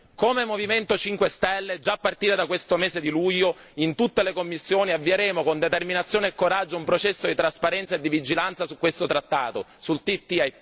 Come Movimento 5 Stelle, già a partire da questo mese di luglio, in tutte le commissioni avvieremo con determinazione e coraggio un processo di trasparenza e di vigilanza sul trattato TTIP.